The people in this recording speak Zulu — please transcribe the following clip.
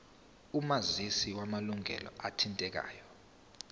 omazisi wamalunga athintekayo